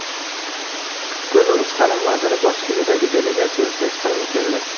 Belarus ta’lim vaziri boshchiligidagi delegatsiya O‘zbekistonga keldi.